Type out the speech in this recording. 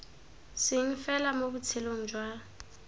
seng fela mo botshelong jwa